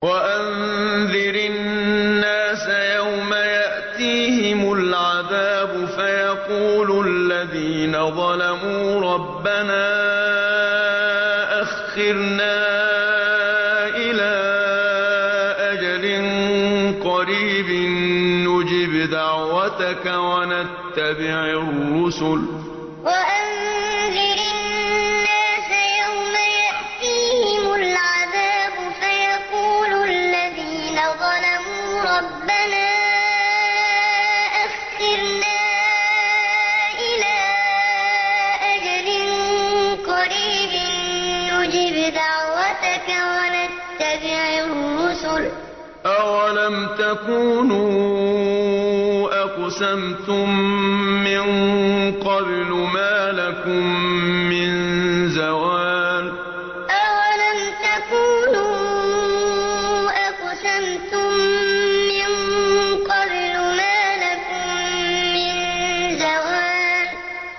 وَأَنذِرِ النَّاسَ يَوْمَ يَأْتِيهِمُ الْعَذَابُ فَيَقُولُ الَّذِينَ ظَلَمُوا رَبَّنَا أَخِّرْنَا إِلَىٰ أَجَلٍ قَرِيبٍ نُّجِبْ دَعْوَتَكَ وَنَتَّبِعِ الرُّسُلَ ۗ أَوَلَمْ تَكُونُوا أَقْسَمْتُم مِّن قَبْلُ مَا لَكُم مِّن زَوَالٍ وَأَنذِرِ النَّاسَ يَوْمَ يَأْتِيهِمُ الْعَذَابُ فَيَقُولُ الَّذِينَ ظَلَمُوا رَبَّنَا أَخِّرْنَا إِلَىٰ أَجَلٍ قَرِيبٍ نُّجِبْ دَعْوَتَكَ وَنَتَّبِعِ الرُّسُلَ ۗ أَوَلَمْ تَكُونُوا أَقْسَمْتُم مِّن قَبْلُ مَا لَكُم مِّن زَوَالٍ